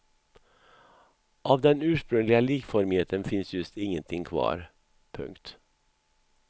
Av den ursprungliga likformigheten finns just ingenting kvar. punkt